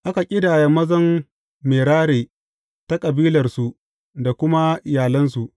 Aka ƙidaya mazan Merari ta kabilarsu da kuma iyalansu.